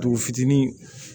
Dugu fitinin